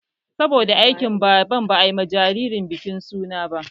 Saboda aikin Baban ba ayi ma jiririn bikin suna ba